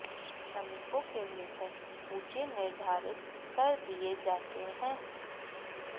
श्रमिकों के वेतन ऊंचे निर्धारित कर दिए जाते हैं